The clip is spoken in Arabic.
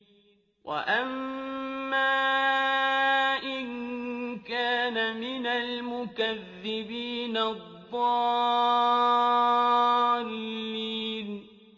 وَأَمَّا إِن كَانَ مِنَ الْمُكَذِّبِينَ الضَّالِّينَ